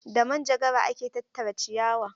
Da manjagara ake tattara ciyawa.